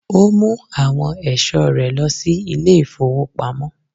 Ó mu àwọn ẹ̀sọ́ rẹ lọ sí ilé-ìfowópamọ́.